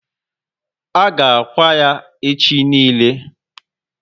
A ga akwa ya echi niile?